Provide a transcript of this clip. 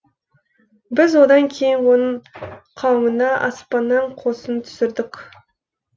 біз одан кейін оның қауымына аспаннан қосын түсірдік